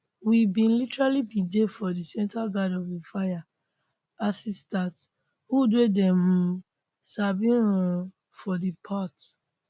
we bin literally bin dey for di centre ghan of di fire as e start woods wey dem um sabi um for di part